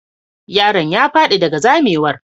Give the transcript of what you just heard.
Yaron ya fadi daga zamewar.